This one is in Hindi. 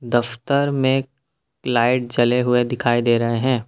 दफ्तर में लाइट जले हुए दिखाई दे रहे हैं।